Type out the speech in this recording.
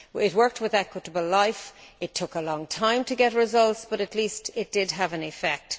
It worked with Equitable Life it took a long time to get results but at least it did have an effect.